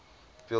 field theory